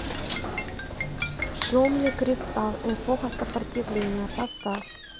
темный кристал эпоха сопротивления поставь